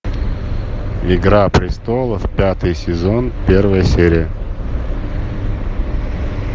игра престолов пятый сезон первая серия